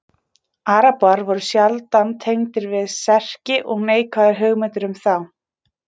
arabar voru sjaldan tengdir við serki og neikvæðar hugmyndir um þá